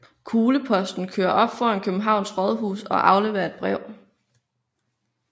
Kugleposten kører op foran Københavns Rådhus og afleverer et brev